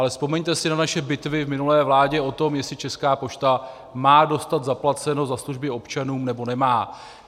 Ale vzpomeňte si na naše bitvy v minulé vládě o to, jestli Česká pošta má dostat zaplaceno za služby občanům, nebo nemá.